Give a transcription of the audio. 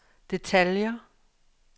detaljer